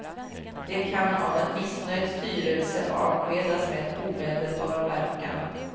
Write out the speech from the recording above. De kan av en missnöjd styrelse avskedas med omedelbar verkan.